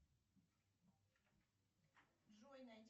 джой найди